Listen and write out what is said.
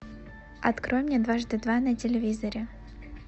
открой мне дважды два на телевизоре